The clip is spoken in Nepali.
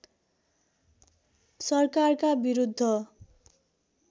सरकारका विरुद्ध